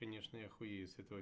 конечно я охуею с этого